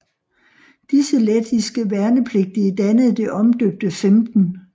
Disse lettiske værnepligtige dannede det omdøbte 15